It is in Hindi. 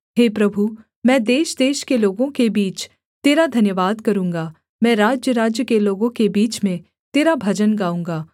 हे प्रभु मैं देशदेश के लोगों के बीच तेरा धन्यवाद करूँगा मैं राज्यराज्य के लोगों के बीच में तेरा भजन गाऊँगा